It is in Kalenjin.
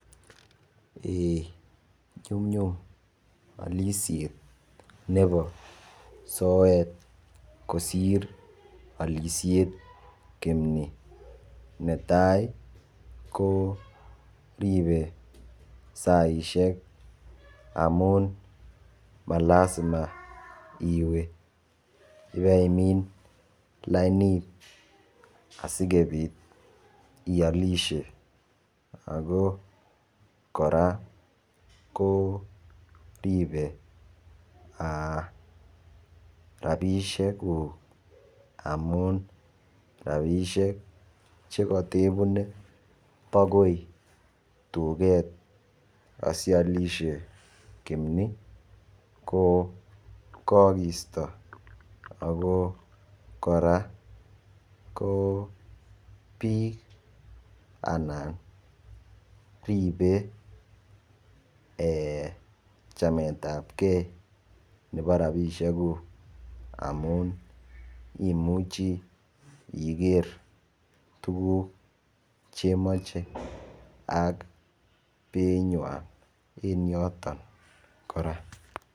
eeh nyumnyum olishet nebo soet kosiir olishet kimni, netai ko ribe saisiek amun malasima iwe baimiin lainit asigobiit iolishe, ago koraa koribe rabishek guuk amuun rabishek chegatebune bagoi tugeet asolishe kimni ko kaagisto ago koraa biik anan ribe eeh chameet ab gee nebo rabishek guuk, amuun imuche iger tuguuk chemoche ak bei nywaan en yotoon koraa.